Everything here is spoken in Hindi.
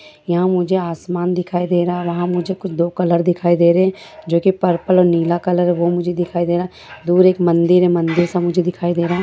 यहां मुझे आसमान दिखाई दे रहा है मुझे कुछ दो कलर दिखाई दे रहे हैं जो कि पर्पल और नीला कलर वो मुझे दिखाई दे रहा दूर एक मंदिर है मंदिर सा मुझे दिखाई दे रहा।